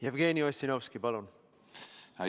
Jevgeni Ossinovski, palun!